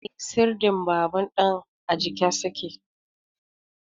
Eh, sirdin babur din a jiƙe su ke.